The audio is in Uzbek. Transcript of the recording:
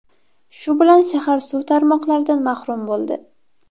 Shu bilan shahar suv tarmoqlaridan mahrum bo‘ldi.